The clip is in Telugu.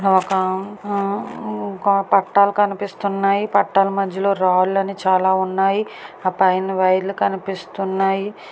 ఒక ఆ ఒక పట్టాలు కనిపిస్తున్నాయి. పట్టాల మధ్యలో రాళ్లు అని చాలా ఉన్నాయి. ఆ పైన వైర్లు కనిపిస్తున్నాయి.